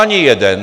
Ani jeden!